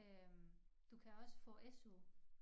Øh du kan også få SU